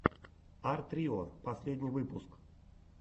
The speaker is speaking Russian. арт рио последний выпуск